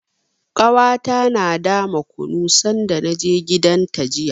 Ƙanwata tana dama kunu sanda na je gidanta jiya.